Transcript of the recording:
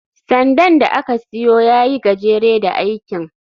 sandan da ka siyo ya yi gajere da aikin